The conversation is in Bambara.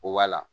Koba la